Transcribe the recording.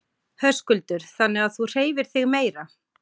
Höskuldur: Þannig að þú hreyfir þig meira?